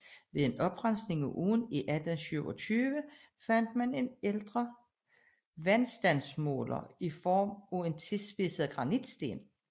Ved en oprensning af åen i 1827 fandt man en ældre vandstandsmåler i form af en tilspidset granitsten